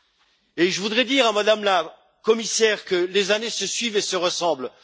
Puis, je voudrais dire à Mme la Commissaire que les années se suivent et se ressemblent.